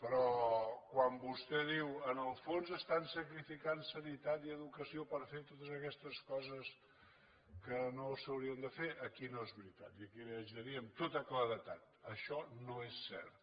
però quan vostè diu en el fons estan sacrificant sanitat i educació per fer totes aquestes coses que no s’haurien de fer aquí no és veritat i aquí li haig de dir amb tota claredat això no és cert